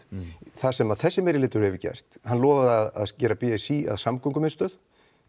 það sem þessi meirihluti hefur gert hann lofaði að gera b s í að samgöngumiðstöð